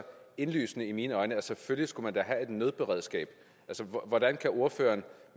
indlysende i mine øjne at selvfølgelig skal man da have et nødberedskab hvordan kan ordføreren